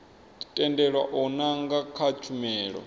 tendelwa u nanga kha tshumelo